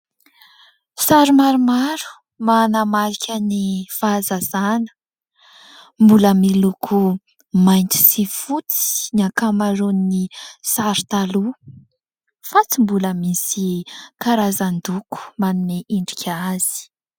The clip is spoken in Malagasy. Sary maromaro manamarika ny fahazazana, mbola miloko mainty sy fotsy ny ankamaroany ny sary taloha fa tsy mbola misy karazan-doko manome endrika azy.